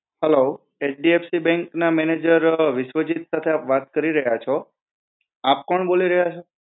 Hello HDFC Bank ના manager Vishwajeet સાથે આપ વાત કરી રહ્યા છો. આપ કોણ બોલી રહ્યા છો?